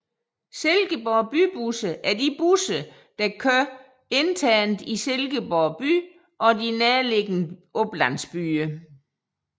Silkeborg Bybusser er de busser der kører internt i Silkeborg by og de nærliggende oplandsbyer